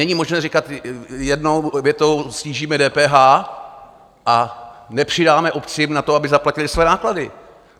Není možné říkat jednou větou snížíme DPH a nepřidáme obcím na to, aby zaplatily svoje náklady.